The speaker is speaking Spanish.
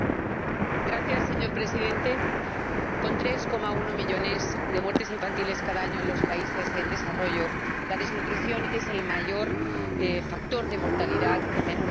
Señor Presidente, con 3,1 millones de muertes infantiles cada año en los países en desarrollo, la desnutrición es el mayor factor de mortalidad en menores de cinco años.